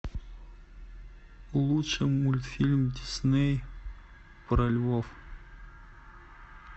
лучший мультфильм дисней про львов